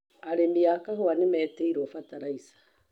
Arĩmi a kahũwa nĩ metĩrwo bataraica.